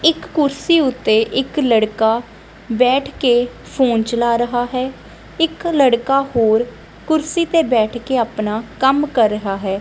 ਇੱਕ ਕੁਰਸੀ ਉੱਤੇ ਇੱਕ ਲੜਕਾ ਬੈਠ ਕੇ ਫੋਨ ਚਲਾ ਰਹਾ ਹੈ ਇੱਕ ਲੜਕਾ ਹੋਰ ਕੁਰਸੀ ਤੇ ਬੈਠ ਕੇ ਆਪਣਾ ਕੰਮ ਕਰ ਰਹਾ ਹੈ।